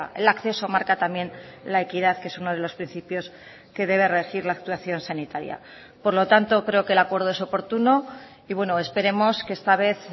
el acceso marca también la equidad que es uno de los principios que debe regir la actuación sanitaria por lo tanto creo que el acuerdo es oportuno y bueno esperemos que esta vez